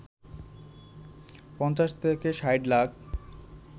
৫০ থেকে ৬০ লাখ